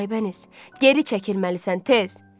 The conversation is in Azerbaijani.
Aybəniz, geri çəkilməlisən, tez!